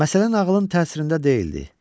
Məsələ nağılın təsirində deyildi.